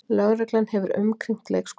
Lögreglan hefur umkringt leikskólann